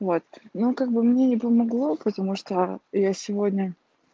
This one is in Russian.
вот ну как бы мне не помогло потому что я сегодня